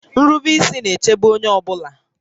Nrube ísí na-èchébé onyé ọ bụla